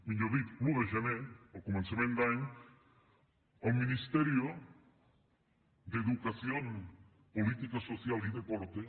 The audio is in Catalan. millor dit l’un de gener a començament d’any el ministerio de educación política social y deporte